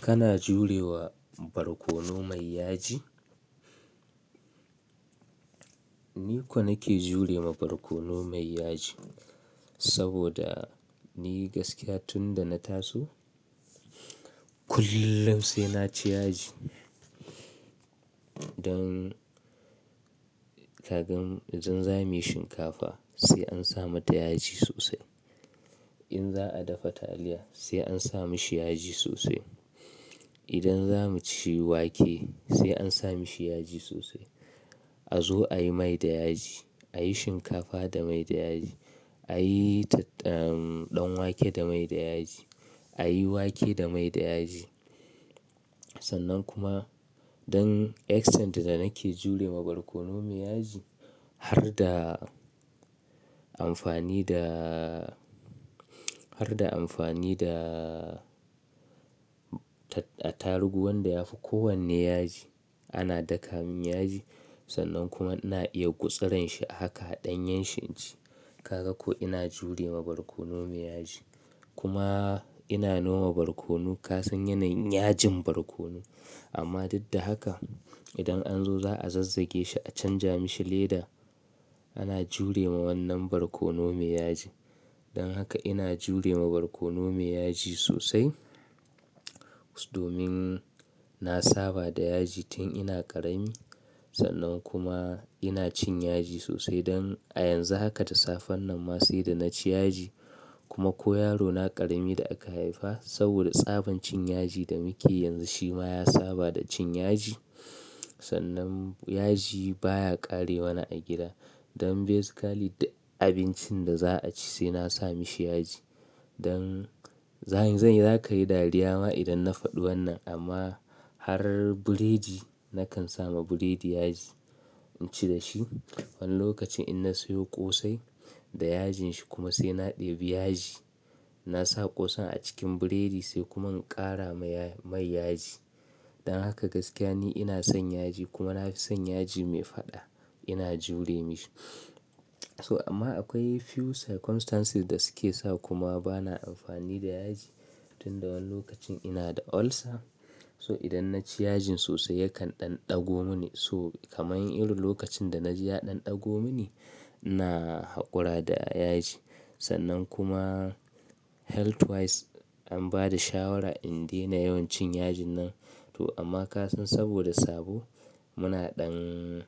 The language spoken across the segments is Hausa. Kana jurewa barkono mai yaji? Ni kuwa nake jurewa barkono mai yaji saboda ni gaskiya tunda na taso kullum sai na ci yaji. Don kagan idan za mu yi shinkafa sai an sa mata yaji sosai. In za a dafa taliya sai an sa mishi yaji sosai. Idan za mu ci wake sai an sa mishi yaji sosai. A zo a yi mai da yaji, a yi shinkafa da mai da yaji. A yi danwake da mai da yaji, a yi wake da mai da yaji. Sannan kuma dan extent da nake jurewa barkono mai yaji har da amfani da, har da amfani da tarugu wanda yafi kowanne yaji ana daka min yaji sannan kuma ina iya gutsaranshi a haka ɗanyan shi ce. Kaga ko ina jurewa barkono mai yaji. Kuma ina noma barkono kasan yanayin yajin barkono. Amma duk da haka idan an zo za a zazzage shi a canja mishi leda ana jurewa wannan barkono mai yaji. Don haka ina jurewa barkono mai yaji sosai. Domin na saba da yaji tun ina ƙarami sannan kuma ina cin yaji sosai don a yanzu haka da safen nan ma sai da na ci yaji kuma ko yaro na ƙarami da aka haifa saboda tsaban cin yaji da muke yanzu shi ma ya saba da cin yaji. Sannan yaji baya ƙare mana a gida. Don basically duk abincin da za a ci sai na sa mishi yaji. Don zanyi-- zakayi dariya ma idan na faɗi wannan amma har burodi nakan samu burodi yaji. In ci da shi. Wani lokacin in na siyo ƙosai da yajin shi kuma sai na ɗebi yaji. Na sa ƙosan a cikin burodi sai kuma in ƙara mai yaji. Don haka gaskiya ni ina son yaji kuma na fi son yaji mai faɗa ina jure mishi. So amma akwai few circumstances da suke sa kuma bana amfani da yaji. Tun dawani lokacin ina da ulcer so idan na ci yajin sosai yakan ɗan ɗago mini so kamar irin lokacin da na ji ya ɗan ɗago mini ina haƙura da yaji. Sannan kuma health wise an ba da shawara in dena yawan cin yajin nan. To amma kasan saboda sabo muna ɗan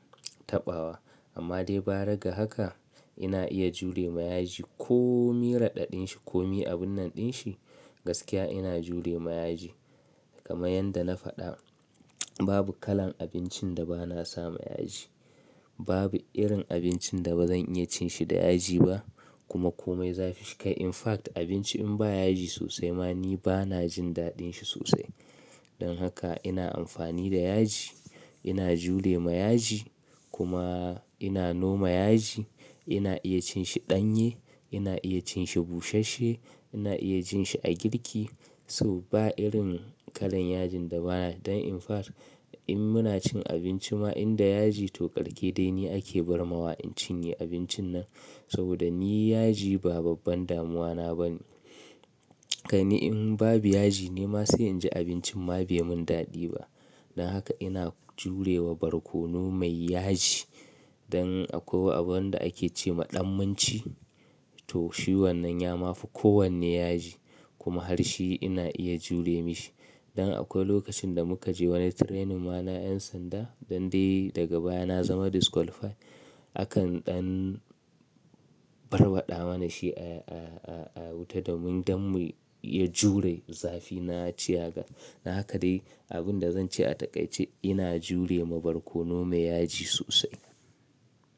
taɓawa. Amma dai bara ga haka ina iya jurewa yaji ko mi raɗaɗin shi ko mi abun nan din shi gaskiya ina jurewa yaji. Kaman yanda na fada babu kalan abincin da bana sama yaji. Babu irin abincin da bazan iya cin shi da yaji ba kuma komai zafi shi kai. In fact abinci in ba yaji sosai ma ni bana jin daɗin shi sosai. Don haka ina amfani da yaji, ina jurewa yaji kuma ina noma yaji. Ina iya cin shi danye, ina iya cin shi bushashe, ina iya cin shi a girki so ba irin kallan yaji da ba, dan in fact in muna cin abinci ma in da yaji to karke dai ne ake barma wa in cinye abincin nan saboda ni yaji ba babban damuwana ba ne. Gani in babu yaji nima sai inji abincin ma bai mun daɗi ba. Don haka ina jurewa barkono mai yaji. Don akwai abun da ake ce maɗammanci to shi wannan ya mafi kowanne yaji kuma har shi ina iya jure mashi. Don akwai lokacin da muka je wani training ma na an sanda don dai daga baya na zama disqualified akan ɗan barwaɗa mana shi a, a, a, a, wuta domin dan mu iya jure zafi na ciyaga. Don haka dai abun da zan ce a takaice ina jure ma barkono mai yaji sosai.